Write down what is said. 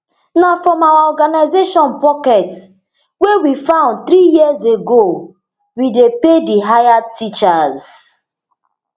na from our organisation pocket wey we found three years ago we dey pay di hired teachers